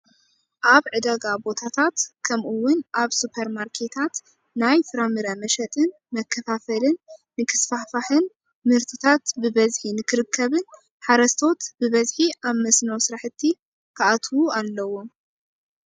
ኣብ ዕዳጋ ቦታታት ከምኡውን ኣብ ሱፐር ማርኬታት ናይ ፍራምረ መሸጥን መከፋፈልን ንክስፋሕፋሕን ምህርትታት በበዝሒ ንክርከብን ሓረስቶስ ብበዝሒ ኣብ መስኖ ስራሕቲ ክኣትው ኣለዎ።